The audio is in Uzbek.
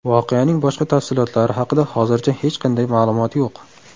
Voqeaning boshqa tafsilotlari haqida hozircha hech qanday ma’lumot yo‘q.